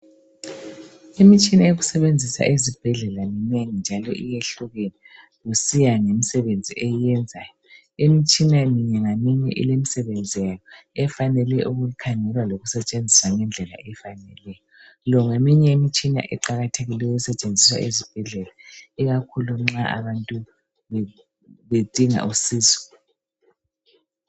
Imitshina yokusebenzisa ezibhedlela minengi njalo iyehlukene kusiya ngemsebenzi eyenzayo. Imitshina minye ngaminye ilemisebenzi yayo efanele ukukhangelwa lokusetshenziswa ngendlela efaneleyo. Le ngeminye imtshini eqakathekileyo esetshenziswa esibhedlela ikakhulu nxa abantu bedinga usizo.